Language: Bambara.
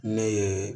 Ne ye